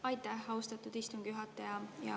Aitäh, austatud istungi juhataja!